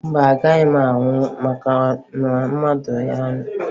Mba, ọ gaghị anwụ ma ọ ṅụọ mmanya ahụ